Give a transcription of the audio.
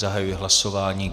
Zahajuji hlasování.